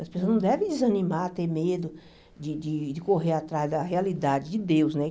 As pessoas não devem desanimar, ter medo de de de correr atrás da realidade de Deus, né?